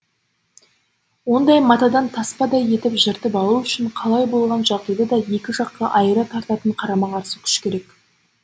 ондай матадан таспадай етіп жыртып алу үшін қалай болған жағдайда да екі жаққа айыра тартатын қарама қарсы күш керек